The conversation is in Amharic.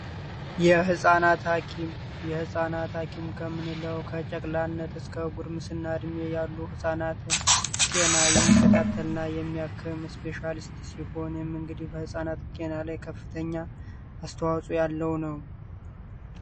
የህፃናት ሀኪም የህፃናት አኪም ከምንለው ካጨቅላነት እስከ እና እድሜ ያሉ ህጻናትን ጤና የሚከታተላ የሚያስፔሻሊስት ሲሆን እንግዲህ ከፍተኛ አስተዋኦ ያለው ነው